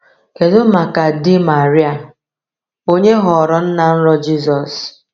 Kedu maka di Maria, onye ghọrọ nna nrọ Jizọs?